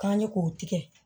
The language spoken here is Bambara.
K'an ye k'o tigɛ